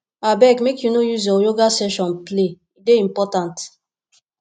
abeg make you no use your yoga session play e dey important